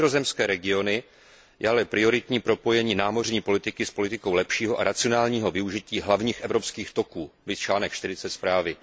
Pro vnitrozemské regiony je ale prioritní propojení námořní politiky s politikou lepšího a racionálního využití hlavních evropských toků, viz bod 40 zprávy.